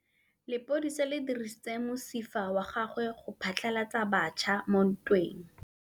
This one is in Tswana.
Lepodisa le dirisitse mosifa wa gagwe go phatlalatsa batšha mo ntweng.